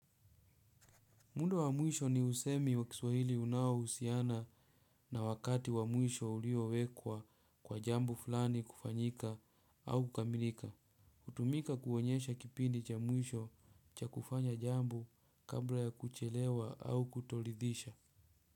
Mundo wa mwisho ni usemi wa kiswahili unao usiana na wakati wa mwisho uliowekwa kwa jambo fulani kufanyika au kukamilika. Utumika kuonyesha kipindi cha mwisho cha kufanya jambo kabla ya kuchelewa au kutolidhisha.